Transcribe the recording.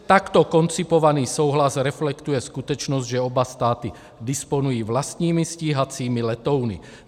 Takto koncipovaný souhlas reflektuje skutečnost, že oba státy disponují vlastními stíhacími letouny.